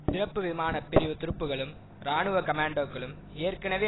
சிறப்பு விமான பிரிவு துருப்புக்களும் இராணுவ கமாண்டோக்களும் ஏற்கனவே